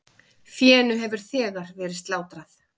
Fénu hefur þegar verið slátrað.